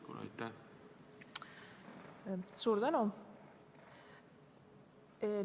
Suur tänu!